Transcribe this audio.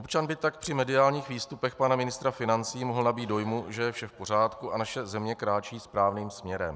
Občan by tak při mediálních výstupech pana ministra financí mohl nabýt dojmu, že je vše v pořádku a naše země kráčí správným směrem.